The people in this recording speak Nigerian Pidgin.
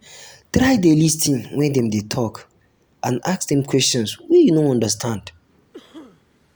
try de lis ten when um dem de talk and um ask dem questions wey you no understand